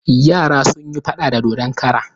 Yara sun yi faɗa da dodon kara.